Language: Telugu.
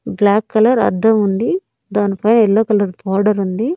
బ్లాక్ కలర్ అద్దం ఉంది దానిపై ఎల్లో కలర్ బార్డర్ ఉంది.